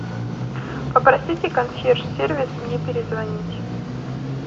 попросите консьерж сервис мне перезвонить